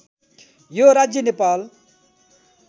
यो राज्य नेपाल